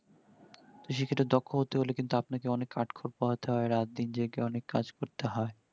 তো সেই ক্ষেত্রে দক্ষ হতে গেলে কিন্তু আপনাকে অনেক কাঠ খোর পোহাতে হয় রাত দিন জেগে অনেক কাজ করতে হয়